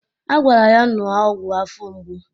A gwara ya ṅụọ ọgwụ afọ mgbu